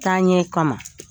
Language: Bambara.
Taaɲɛ kama